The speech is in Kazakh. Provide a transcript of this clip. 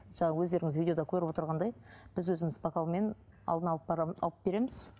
жаңағы өздеріңіз видеода көріп отырғандай біз өзіміз бокалмен алдына алып алып береміз